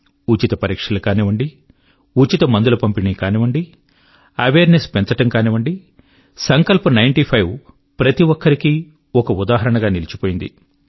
ఉచిత పరీక్షలు కానివ్వండి ఉచిత మందుల పంపిణీ కానివ్వండి అవేర్ నెస్ పెంచడం కానివ్వండి సంకల్ప్ నైన్టీ ఫైవ్ ప్రతి ఒక్కరి కీ ఒక ఉదాహరణగా నిలిచిపోయింది